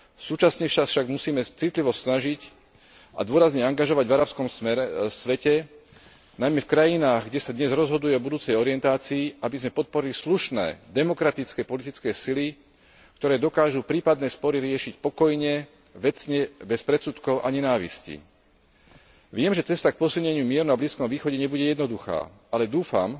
Súčasne sa však musíme citlivo snažiť a dôrazne angažovať v arabskom svete, najmä v krajinách, kde sa dnes rozhoduje o budúcej orientácii, aby sme podporili slušné, demokratické politické sily, ktoré dokážu prípadné spory riešiť pokojne, vecne, bez predsudkov a nenávisti. Viem, že cesta k posilneniu mieru na Blízkom východe nebude jednoduchá, ale dúfam,